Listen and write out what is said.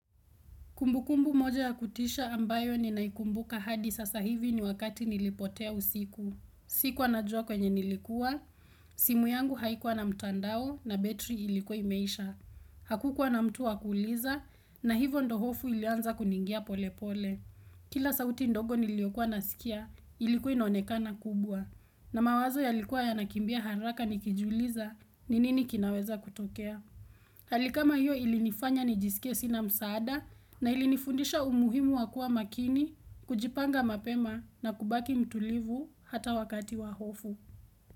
Kumbukumbu moja ya kutisha ambayo ni naikumbuka hadi sasa hivi ni wakati nilipotea usiku. Sikuwa najua kwenye nilikuwa, simu yangu haikuwa na mtandao na betri ilikuwa imeisha. Hakukuwa na mtu wa kuuliza na hivyo ndio hofu ilianza kuniingia polepole. Kila sauti ndogo niliokuwa nasikia, ilikuwa inonekana kubwa. Na mawazo yalikuwa yanakimbia haraka nikijuliza, ni nini kinaweza kutokea? Hali kama hiyo ilinifanya nijisikie sina msaada na ilinifundisha umuhimu wa kuwa makini, kujipanga mapema na kubaki mtulivu hata wakati wa hofu.